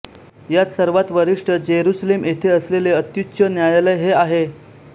यात सर्वांत वरिष्ठ जेरुसलेम येथे असलेले अत्युच्च न्यायालय हे आहे